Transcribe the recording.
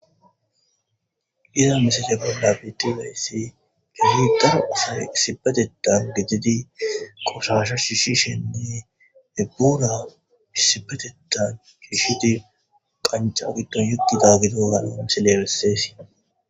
Izza missile bolla bethizayssi keehi daro assayi issippetethan gididi qoshasha shishishininne burra issippetethan shishidi qancca gidon uttidagge diyogga missile besses.